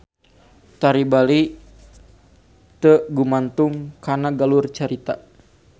Tari Bali teu gumantung kana galur cerita.